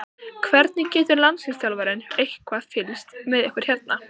Hvernig getur landsliðsþjálfarinn eitthvað fylgst með ykkur hérna?